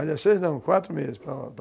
Aliás, seis não, quatro meses para lá.